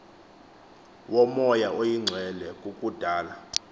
womoya oyingcwele kukudala